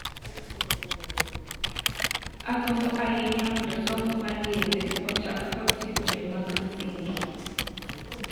Agombo ahinya mondo somo mar yedhe ochak kod sikunde mag msingi."